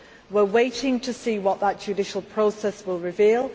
We are waiting to see what that judicial process will reveal.